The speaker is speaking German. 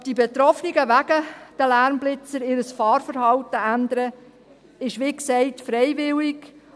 Ob die Betroffenen wegen der Lärmblitzer ihr Fahrverhalten ändern, ist wie gesagt freiwillig.